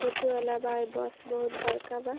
सुते वाला बा। ए बस बहुत बड़का बा।